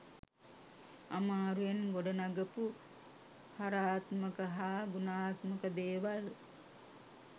අමාරුවෙන් ගොඩනගපු හරාත්මක හා ගුණාත්මක දේවල්